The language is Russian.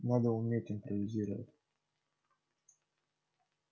надо уметь импровизировать